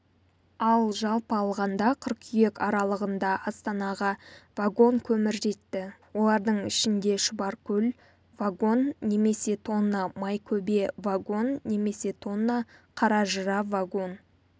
ал жалпы алғанда қыркүйек аралығында астанаға вагон көмір жетті олардың ішінде шұбаркөл вагон немесе тонна майкөбе вагон немесе тонна қаражыра вагон